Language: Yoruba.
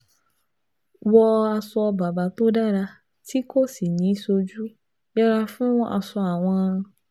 wọ aṣọ bàbà tó dára tí kò sì ní í sojú, yẹra fún aṣọ àwọ̀n